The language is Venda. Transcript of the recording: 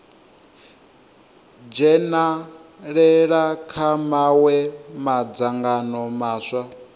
dzhenalela kha mawe madzangano maswa